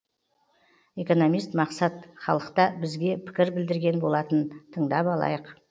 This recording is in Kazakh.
экономист мақсат халықта бізге пікір білдірген болатын тыңдап алайық